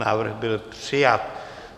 Návrh byl přijat.